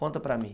Conta para mim.